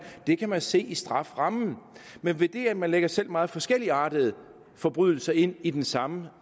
det kan man se i strafferammen men ved det at man lægger selv meget forskelligartede forbrydelser ind i den samme